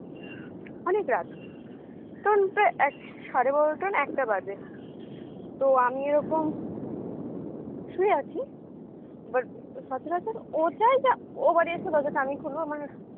অনেক রাত তখন প্রায় এক সাড়ে বারোটা না একটা বাজে তো আমি এরকম শুয়ে আছি এবার সচারচর ও চায় যে ও বাড়ি আসলে দরজাটা আমিই খুলবো আমার